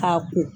K'a ko